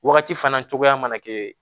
Wagati fana cogoya mana kɛ